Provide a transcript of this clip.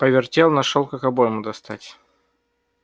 повертел нашёл как обойму достать